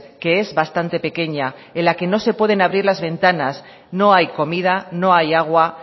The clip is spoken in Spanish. que es bastante pequeña en la que no se pueden abrir las ventanas no hay comida no hay agua